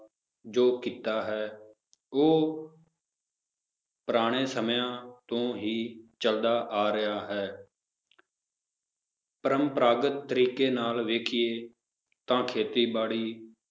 ਜੋ ਕਿੱਤਾ ਹੈ ਉਹ ਪੁਰਾਣੇ ਸਮਿਆਂ ਤੋਂ ਹੀ ਚੱਲਦਾ ਆ ਰਿਹਾ ਹੈ ਪਰੰਪਰਾਗਤ ਤਰੀਕੇ ਨਾਲ ਵੇਖੀਏ ਤਾਂ ਖੇਤੀਬਾੜੀ